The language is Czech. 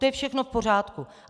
To je všechno v pořádku.